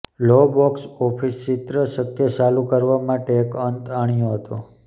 લો box office ચિત્ર શક્ય ચાલુ કરવા માટે એક અંત આણ્યો હતો